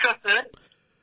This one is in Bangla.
নমস্কার স্যার